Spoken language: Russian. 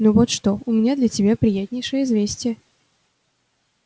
ну вот что у меня для тебя приятнейшее известие